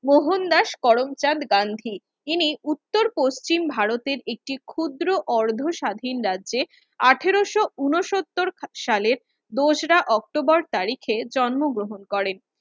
মোহনদাস করমচাঁদ গান্ধি ইনি উত্তর পশ্চিম ভারতের একটি ক্ষুদ্র অর্ধ স্বাধীন রাজ্যে আঠারোশো ঊনসত্তর সালের দোসরা অক্টবর তারিখে জন্মগ্রহণ করেন